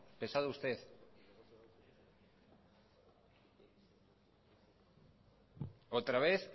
pesado usted otra vez